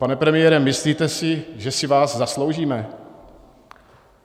Pane premiére, myslíte si, že si vás zasloužíme?